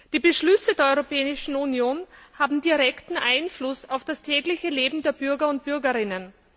Die Beschlüsse der Europäischen Union haben direkten Einfluss auf das tägliche Leben der Bürger und Bürgerinnen.